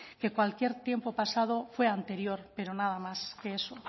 que cualquier tiempo pasado fue anterior pero nada más que eso